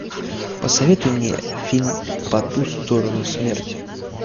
посоветуй мне фильм по ту сторону смерти